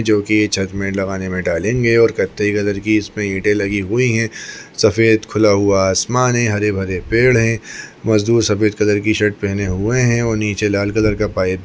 जोकि ये छत में लगाने में डलेंगे और कथाई कलर की इसमें ईंटे लगी हुई है सफ़ेद खुला हुआ आसमान है हरे -भरे पेड़ है मजदूर सफ़ेद कलर की शर्ट पहने हुए है और नीचे लाल कलर का पाइप --